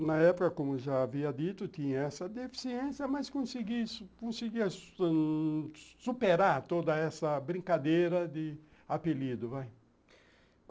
E na época, como já havia dito, tinha essa deficiência, mas conseguia conseguia conseguia superar toda essa brincadeira de apelido, vai.